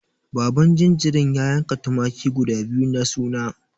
Baban jinjirin ya yanka tumaki guda biyu na suna.